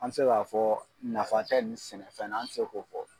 An mi se k'a fɔ nafatɛ ni sɛnɛfɛn na, an ti se k'o fɔ